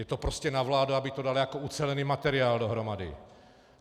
Je to prostě na vládě, aby to dala jako ucelený materiál dohromady.